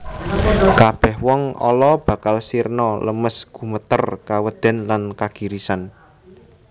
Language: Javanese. Kabèh wong ala bakal sirna lemes gumeter kawedèn lan kagirisan